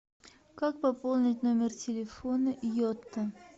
как пополнить номер телефона йота